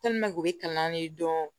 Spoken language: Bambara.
u bɛ kalan ye dɔrɔn